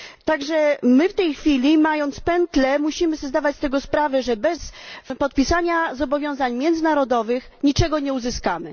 Zatem w tej chwili, mając pętlę na szyi, musimy sobie zdawać z tego sprawę, że bez podpisania zobowiązań międzynarodowych niczego nie uzyskamy.